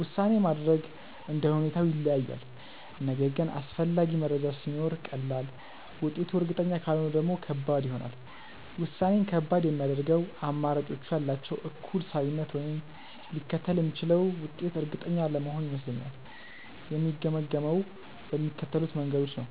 ውሳኔ ማድረግ እንደ ሁኔታው ይለያያል፤ ነገር ግን አስፈላጊ መረጃ ሲኖር ቀላል፣ ውጤቱ እርግጠኛ ካልሆነ ደግሞ ከባድ ይሆናል። ውሳኔን ከባድ የሚያደርገው አማራጮቹ ያላቸው እኩል ሳቢነት ወይም ሊከተል የሚችለው ውጤት እርግጠኛ አለመሆን ይመስለኛል። የምገመግመው በሚከተሉት መንገዶች ነው፦